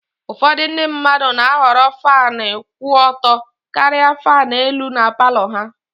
Ụfọdụ ndị mmadụ na-ahọrọ Fan kwụ ọtọ karịa fan elu na Palọ ha